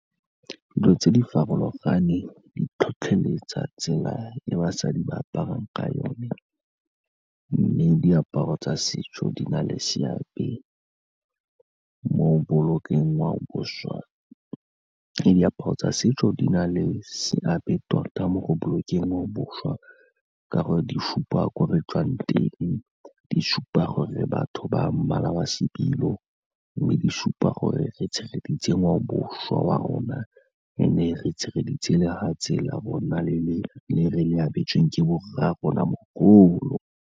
Dilo tse di farologaneng di tlhotlheletsa tsela e basadi ba aparang ka yone mme diaparo tsa setso di na le seabe mo bolokeng ngwaoboswa, e diaparo tsa setso di na le seabe tota mo go bolokeng ngwaoboswa ka gore di supa ko re tswang teng, di supa gore batho ba mmala wa sebilo mme di supa gore re tshegeditse ngwaoboswa wa rona, re ne re tshegeditse lefatshe rona le re le abetsweng ke borra rona mogolo.